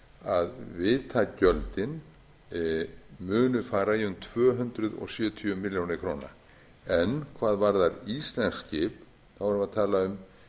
að vitagjöldin munu fara í um tvö hundruð sjötíu milljónum króna en hvað varðar íslensk skip erum við að tala um